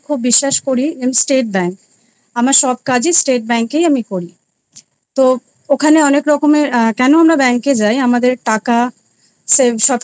State Bank আমার সব কাজ আমি State Bank এই করি তো ওখানে অনেক রকমের আ কেনো আমরা bank এ যাই আমাদের টাকা save সব কিছু আমাদের